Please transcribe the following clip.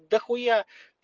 дохуя